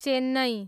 Chennai